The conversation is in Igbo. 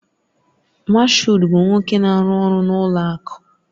Mashood bụ nwoke na-arụ ọrụ n'ụlọ akụ